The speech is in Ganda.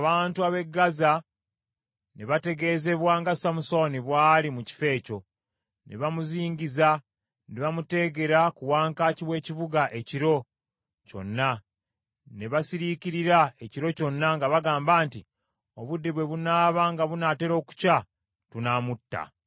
Awo abantu ab’e Gaza ne bategeezebwa nga Samusooni bw’ali mu kifo ekyo. Ne bamuzingiza ne bamuteegera ku wankaaki w’ekibuga ekiro kyonna. Ne basiriikirira ekiro kyonna nga bagamba nti, “Obudde bwe bunaaba nga bunaatera okukya tunaamutta.”